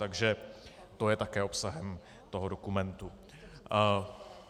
Takže to je také obsahem toho dokumentu.